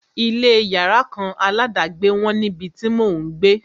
Ilé yàrá kan aládàgbé wọ́n níbi tí mò ń gbé.